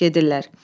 Gedirlər.